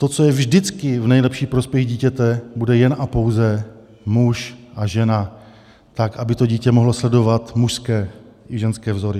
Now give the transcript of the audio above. To, co je vždycky v nejlepší prospěch dítěte, bude jen a pouze muž a žena, tak aby to dítě mohlo sledovat mužské i ženské vzory.